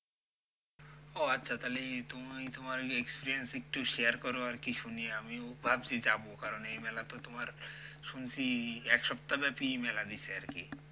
ও আচ্ছা তাহলে তুমি তোমার experience একটু share করো আরকি শুনি আমিও ভাবছি যাবো কারণ এই মেলা তো তোমার শুনছি একসপ্তাহ ব্যাপী মেলা দিসে আরকি।